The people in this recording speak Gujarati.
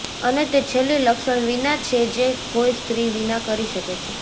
અને તે છેલ્લી લક્ષણ વિના છે જે કોઈ સ્ત્રી વિના કરી શકે છે